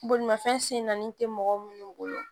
Bolimafɛn sen naani tɛ mɔgɔ minnu bolo